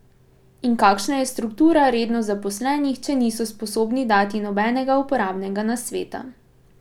In kakšna je struktura redno zaposlenih, če niso sposobni dati nobenega uporabnega nasveta?